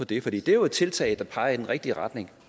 det for det er jo et tiltag der peger i den rigtige retning